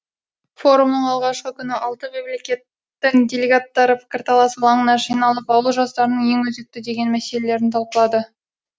форумның алғашқы күні алты мемлекеттің делегаттары пікірталас алаңына жиналып ауыл жастарының ең өзекті деген мәселелерін талқылады